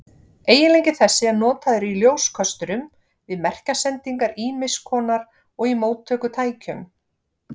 Eiginleiki þessi er notaður í ljóskösturum, við merkjasendingar ýmiss konar og í móttökutækjum.